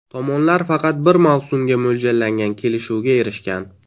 Tomonlar faqat bir mavsumga mo‘ljallangan kelishuvga erishgan.